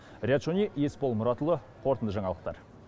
риат шони есбол мұратұлы қорытынды жаңалықтар